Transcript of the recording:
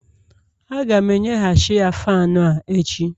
Aga m enye ghachiya Faanụ a echi